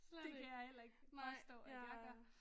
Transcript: Det kan jeg hedder ikke forstå at jeg gør